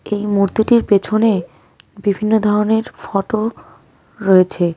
এই মূর্তিটির পেছনে বিভিন্ন ধরনের ফটো রয়েছে.